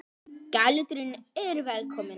Gæludýrin eru velkomin